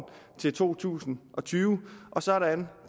til to tusind og tyve og sådan